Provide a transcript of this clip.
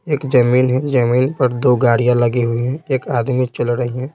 एक जमीन है जमीन पर दो गाड़ियां लगी हुई हैं एक आदमी चल रही हैं।